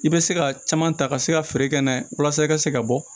I bɛ se ka caman ta ka se ka feere kɛ n'a ye walasa i ka se ka bɔ